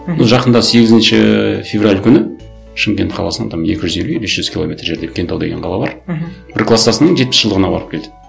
мхм жақында сегізінші февраль күні шымкент қаласынан там екі жүз елу или үш жүз километр жерде кентау деген қала бар мхм бір кластасының жетпіс жылдығына барып келді